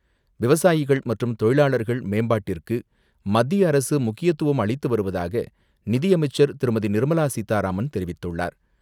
விவசாயிகள் மற்றும் தொழிலாளர்கள் மேம்பாட்டிற்கு மத்திய அரசு முக்கியத்துவம் அளித்து வருவதாக நிதியமைச்சர் திருமதி நிர்மலா சீதாராமன் தெரிவித்துள்ளார்.